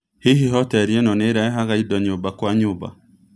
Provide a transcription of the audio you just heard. Hihi hoteri ĩno nĩ ĩrehaga indo nyũmba kwa nyũmba